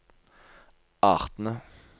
artene